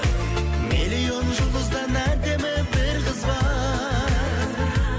миллион жұлдыздан әдемі бір қыз бар